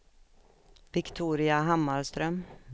Viktoria Hammarström